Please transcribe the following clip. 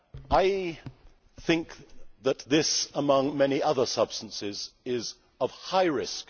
I think that this, among many other substances, poses a high